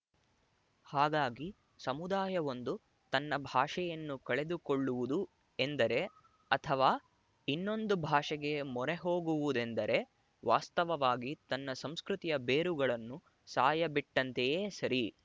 ಹಾಗಾಗಿ ಸಮುದಾಯವೊಂದು ತನ್ನ ಭಾಷೆಯನ್ನು ಕಳೆದುಕೊಳ್ಳುವುದು ಎಂದರೆ ಅಥವಾ ಇನ್ನೊಂದು ಭಾಷೆಗೆ ಮೊರೆಹೋಗುವುದೆಂದರೆ ವಾಸ್ತವವಾಗಿ ತನ್ನ ಸಂಸ್ಕೃತಿಯ ಬೇರುಗಳನ್ನು ಸಾಯಬಿಟ್ಟಂತೆಯೇ ಸರಿ